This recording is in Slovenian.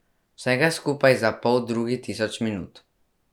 Vsega skupaj za poldrugi tisoč minut.